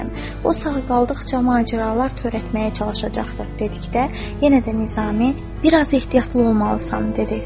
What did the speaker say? O sağ qaldıqca macəralar törətməyə çalışacaqdır, dedikdə yenə də Nizami bir az ehtiyatlı olmalısan, dedi.